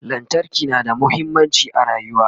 lantarki na da muhimmanci a rayuwa